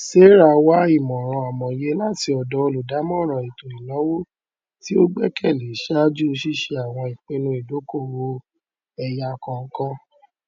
sarah wá ìmòràn amòye láti ọdọ olùdàmọràn ètò ìnáwó tí ó gbẹkẹlé ṣáájú ṣíṣe àwọn ìpinnu ìdókòowó ẹyà kankan